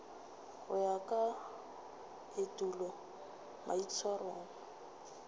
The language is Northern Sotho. go ya ka etulo maitshwaro